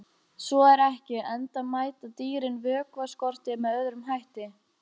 Svo er ekki, enda mæta dýrin vökvaskorti með öðrum hætti.